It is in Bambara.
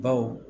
Baw